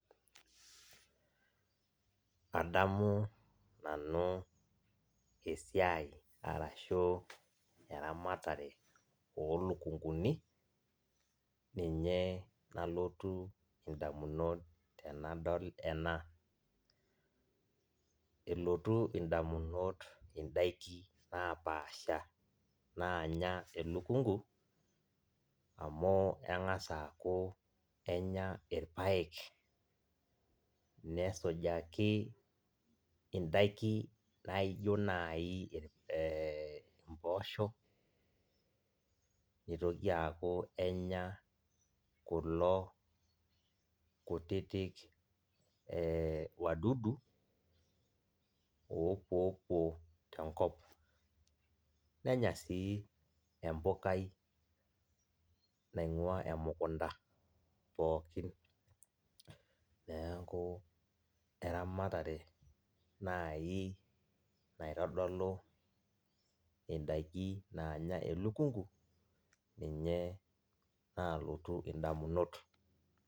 Adamu nanu esiai arashu eramatare olukunguni ninye nalotu ndamunot tanadol ena, elotu ndamunot ndakini napaasha nanya elukungu amu kengasa aaku enya irpaek, nesujaki indakini naijo nai mboosho nitokiki aaku enya kulo kutitik wadudu opuopuo tenkop, nenya si empukai naingua emukunda pookini, neaku eramatare nai naitodolu ndakin nanya elukungu ninye nalotu ndamunot.